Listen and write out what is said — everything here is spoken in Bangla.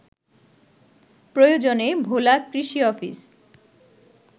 প্রয়োজনে ভোলা কৃষি অফিস